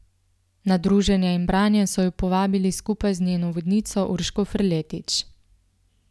Na druženje in branje so jo povabili skupaj z njeno vodnico Urško Ferletič.